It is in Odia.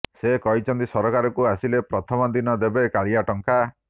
ସେ କହିଛନ୍ତି ସରକାରକୁ ଆସିଲେ ପ୍ରଥମ ଦିନ ଦେବେ କାଳିଆ ଟଙ୍କା